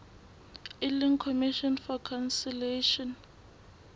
e leng commission for conciliation